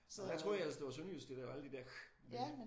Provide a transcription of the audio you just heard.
Og jeg troede ellers det var sønderjysk der lavede alle de der ch lyde